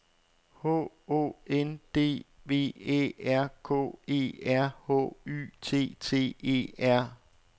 H Å N D V Æ R K E R H Y T T E R